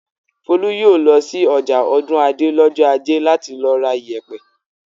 Folú yóò lọ sí ọjà Ọ̀dúnadé lọ́jọ́ ajé láti lọ ra ìyẹ̀pẹ̀!